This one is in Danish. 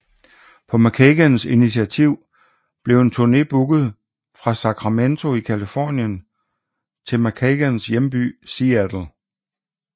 På McKagans intiativ blev en turné booket fra Sacramento i Californien til McKagans hjemby Seattle